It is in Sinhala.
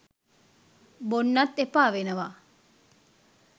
බොන්නත් එපා වෙනවා.